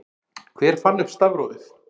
Hver fann upp stafrófið?